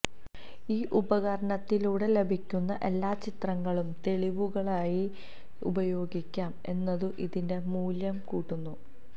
ഈ ഉപകരണത്തിലൂടെ ലഭിക്കുന്ന എല്ലാ ചിത്രങ്ങളും തെളിവുകളായി ഉപയോഗിക്കാം എന്നതും ഇതിന്റെ മൂല്യം കൂട്ടുന്നു